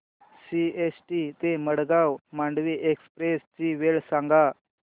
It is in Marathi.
सीएसटी ते मडगाव मांडवी एक्सप्रेस ची वेळ सांगा